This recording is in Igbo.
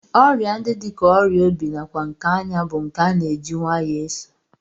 Ọrịa ndị dị ka ọrịa obi nakwa nke anya bụ nke a na-eji nwayọọ eso